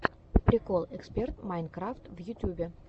прикол эксперт майнкрафт в ютубе